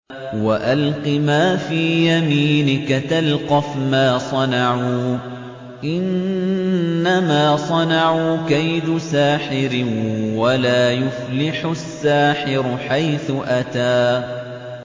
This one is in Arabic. وَأَلْقِ مَا فِي يَمِينِكَ تَلْقَفْ مَا صَنَعُوا ۖ إِنَّمَا صَنَعُوا كَيْدُ سَاحِرٍ ۖ وَلَا يُفْلِحُ السَّاحِرُ حَيْثُ أَتَىٰ